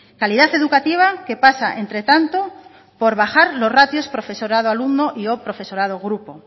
calidad educativa que pasa entre tanto por bajar los ratios profesorado alumno y o profesorado grupo